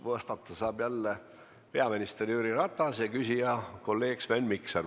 Vastata saab jälle peaminister Jüri Ratas ja küsija on kolleeg Sven Mikser.